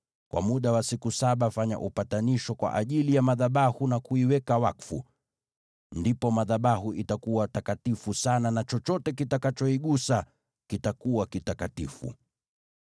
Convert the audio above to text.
Kwa muda wa siku saba fanya upatanisho kwa ajili ya madhabahu na kuiweka wakfu. Ndipo madhabahu itakuwa takatifu sana na chochote kitakachoigusa kitakuwa kitakatifu.